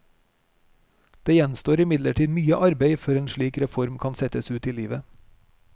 Det gjenstår imidlertid mye arbeid før en slik reform kan settes ut i livet.